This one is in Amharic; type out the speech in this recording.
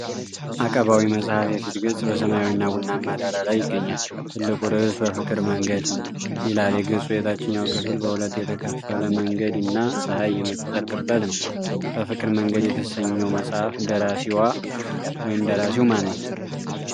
አቀባዊ መጽሐፍ የፊት ገጽ በሰማያዊና ቡናማ ዳራ ላይ ይገኛል። ትልቁ ርዕስ "በፍቅር መንገድ" ይላል። የገጹ የታችኛው ክፍል በሁለት የተከፈለ መንገድ እና ፀሐይ የምትጠልቅበት ነው ።"በፍቅር መንገድ" የተሰኘው መጽሐፍ ደራሲው/ዋ ማነው?